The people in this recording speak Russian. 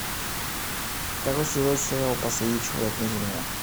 второй сезон сериал последний человек на земле